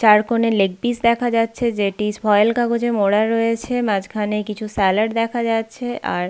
চারকোণে leg piece দেখা যাচ্ছে। যেটি ফয়েল কাগজে মোরা রয়েছে। মাঝখানে কিছু স্যালাড দেখা যাচ্ছে। আর--